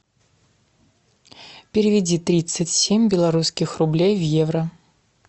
переведи тридцать семь белорусских рублей в евро